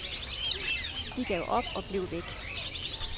De gav op og blev væk.